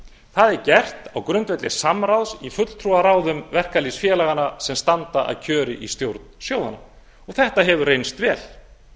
það er gert á grundvelli samráðs í fulltrúaráðum verkalýðsfélaganna sem standa að kjöri í stjórn sjóðanna og þetta hefur reynst vel